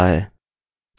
ठीक है हमें यह मिला